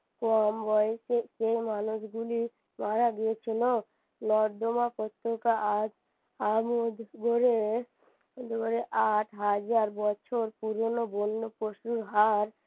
কম বয়সী যে মানুষগুলি মারা গিয়েছিলো নর্দমা আট হাজার বছর পুরনো বন্য পশুর হাড়